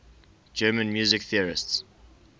german music theorists